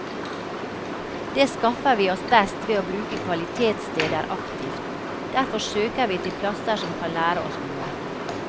Det skaffer vi oss best ved å bruke kvalitetssteder aktivt, derfor søker vi til plasser som kan lære oss noe.